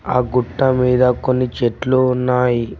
ఆ గుట్ట మీద కొన్ని చెట్లు ఉన్నాయి.